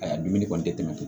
Ayaa dumuni kɔni te tɛmɛ